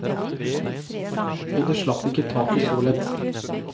Og det slapp ikke taket så lett.